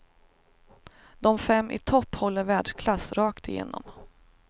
De fem i topp håller världsklass rakt igenom.